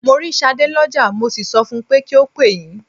Mo rí Ṣadé lọ́jà, mo sì sọ fun pé kí ó pè yín.